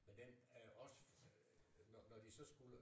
Men den øh os når de så skulle